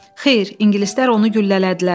Xeyr, ingilislər onu güllələdilər.